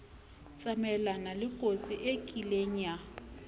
tsamayelana lekotsi e kieng ya